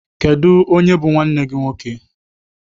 Kedụ onye bụ nwanne gị nwoke?